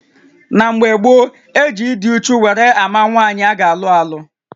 Na mgbè gboo, e ji ịdị úchú wéré àmà nwaanyị ágá alụ-alụ